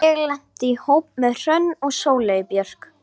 Hemmi kyssir hana laust á hálsinn.